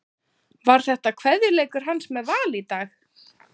Var þetta kveðjuleikur hans með Val í dag?